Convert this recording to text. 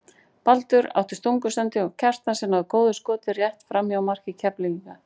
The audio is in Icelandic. Baldur átti stungusendingu á Kjartan sem náði góðu skoti rétt framhjá marki Keflvíkinga.